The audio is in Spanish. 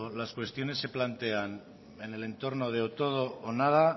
las cuestiones se plantean en el entorno de o todo o nada